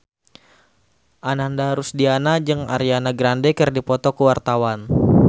Ananda Rusdiana jeung Ariana Grande keur dipoto ku wartawan